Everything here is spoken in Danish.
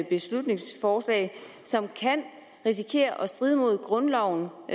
beslutningsforslag som kan risikere at stride mod grundloven